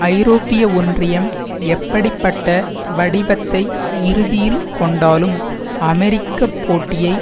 ஐரோப்பிய ஒன்றியம் எப்படி பட்ட வடிவத்தை இறுதியில் கொண்டாலும் அமெரிக்க போட்டியை